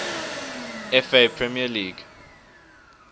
fa premier league